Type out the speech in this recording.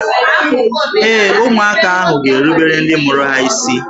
Ee, ụmụaka ahụ ga-erubere ndị mụrụ ha isi